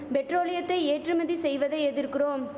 பெட்ரோலியத்தை ஏற்றுமதி செய்வதை எதிர்குறோம்